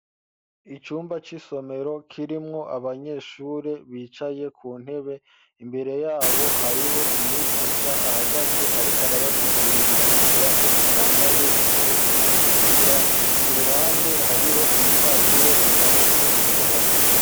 Icumba c'isomero, kirimwo abanyeshure bicaye ku ntebe, imbere y'abo hariho umwigisha ahagaze, ariko arabasigurira ivyigwa, yambaye impuzu zitukura; ku ruhande, hariho ibipapuro bimanitse ku ruhome.